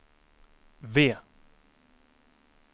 V